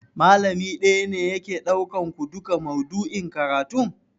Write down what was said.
Malami ɗaya ne yake ɗaukan ku duka maudu'in karatun?